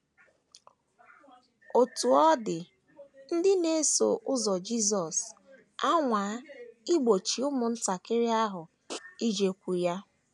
* Otú ọ dị, ndị na - eso ụzọ Jisọs anwaa igbochi ụmụntakịrị ahụ ijekwuru ya.